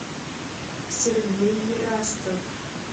сергей ерастов